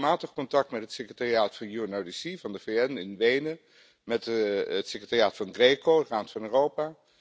Ik heb regelmatig contact met het secretariaat van UNODC, van de VN, in Wenen, met het secretariaat van GRECO van de Raad van Europa.